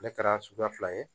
Ale kɛra suguya fila ye